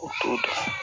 U t'o dɔn